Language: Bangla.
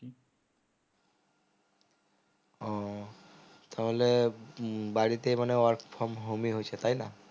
ও তাহলে উহ বাড়িতেই মানে work from home ই হচ্ছে তাই না